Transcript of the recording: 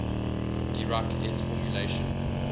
dirac s formulation